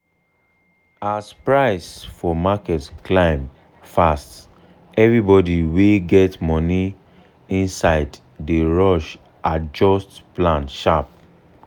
as price for market climb fast everybody wey get money inside dey rush adjust plan sharp.